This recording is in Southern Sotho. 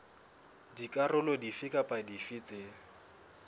dikarolo dife kapa dife tse